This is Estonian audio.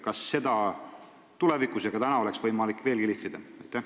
Kas seda oleks tulevikus võimalik veelgi lihvida?